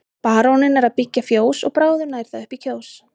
Baróninn er að byggja fjós og bráðum nær það upp í Kjós.